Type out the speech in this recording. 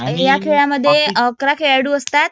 ह्या खेळामध्ये अकरा खेळाडू असतात.